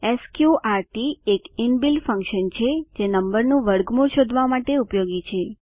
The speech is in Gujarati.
સ્ક્ર્ટ એક ઇનબિલ્ટ ફન્કશન છે જે નંબરનું વર્ગમૂળ શોધવા માટે ઉપયોગી છે